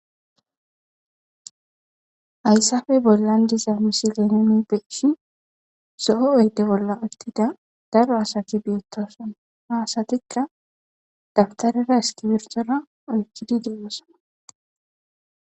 Ayssafey bollan diza misi lenone peishi so7o oydde bolla uttida daro asati biettoson ha asatikka dabtarera eskibirtora oykkidi deeosana